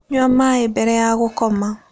Nyua maĩ mbere ya gũkoma